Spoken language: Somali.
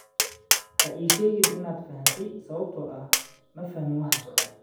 "Ha ii sheegin inaad fahantay sababtoo ah ma fahmin waxa socda."